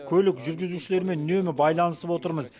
көлік жүргізушілерімен үнемі байланысып отырмыз